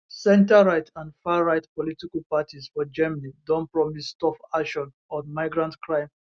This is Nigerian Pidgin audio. centreright and farright political parties for germany don promise tough action on migrant crime